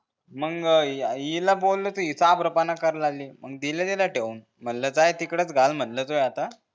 मग हिला बोललो तर हि चाभरपणा करा लागली मग दिल्या तिला ठेवून म्हंटले जाय तिकडंच घाल म्हणलं तुह्या आता